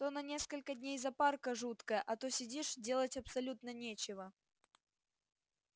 то на несколько дней запарка жуткая а то сидишь делать абсолютно нечего